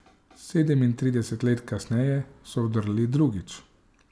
Sedemintrideset let kasneje so vdrli drugič.